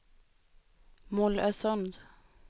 Mollösund